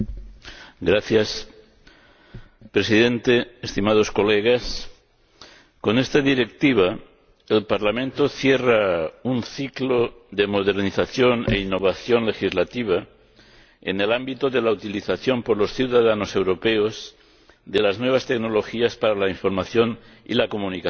Señor Presidente, estimados diputados, con esta Directiva el Parlamento cierra un ciclo de modernización e innovación legislativa en el ámbito de la utilización por los ciudadanos europeos de las nuevas tecnologías para la información y la comunicación.